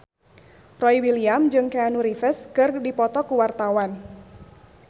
Boy William jeung Keanu Reeves keur dipoto ku wartawan